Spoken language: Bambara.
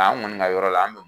an kɔni ka yɔrɔ la an